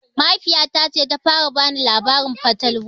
Mahaifiya ta ce ta fara bani labarin fatalwa